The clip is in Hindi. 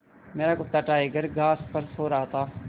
मेरा कुत्ता टाइगर घास पर सो रहा था